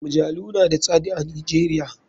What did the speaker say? Majalu na da tsad a nijeria.